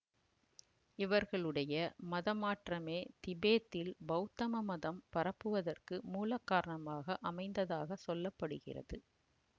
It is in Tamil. இவர்களுடைய மதமாற்றமே திபேத்தில் பௌத்தம மதம் பரவுவதற்கு மூல காரணமாக அமைந்ததாகச் சொல்ல படுகிறது